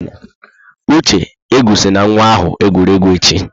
Uche, ekwusila nwa ahụ egwuregwu echi!